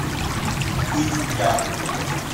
пыть яху